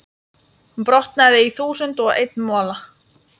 brotnaði í þúsund og einn mola.